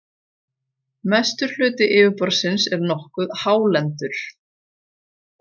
Mestur hluti yfirborðsins er nokkuð hálendur.